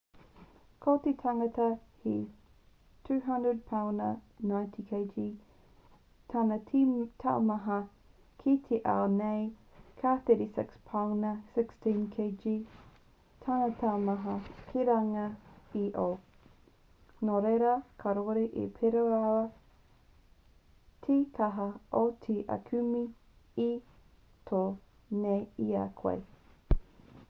ko te tangata he 200 pauna 90kg tana te taumaha ki te ao nei ka 36 pauna 16kg tana taumaha ki runga i io. nō reira kāore e pērā rawa te kaha o te aukume e tō nei i a koe